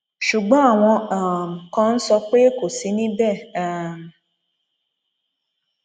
ṣùgbọn àwọn um kan ń sọ pé kò sí níbẹ um